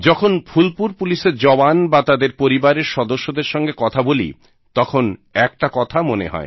যখন ফুলপুর পুলিশের জওয়ান বা তাদের পরিবারের সদস্যদের সঙ্গে কথা বলি তখন একটা কথা মনে হয়